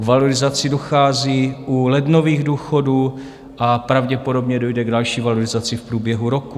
K valorizaci dochází u lednových důchodů a pravděpodobně dojde k další valorizaci v průběhu roku.